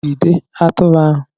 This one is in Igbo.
Jide atụrụ ahu!